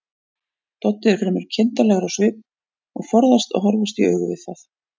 Doddi er fremur kindarlegur á svip og forðast að horfast í augu við